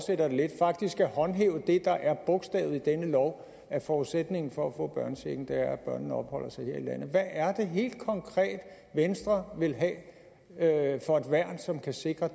lidt at vi faktisk skal håndhæve det der er bogstavet i denne lov at forudsætningen for at få børnechecken er at børnene opholder sig her i landet hvad er det helt konkret venstre vil have for et værn som kan sikre